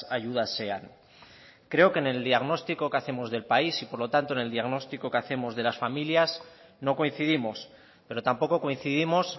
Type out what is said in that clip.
ayudas sean creo que en el diagnóstico que hacemos del país y por lo tanto en el diagnóstico que hacemos de las familias no coincidimos pero tampoco coincidimos